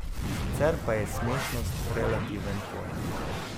Sicer pa je smešnost relativen pojem.